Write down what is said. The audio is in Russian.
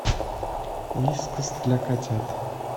вискас для котят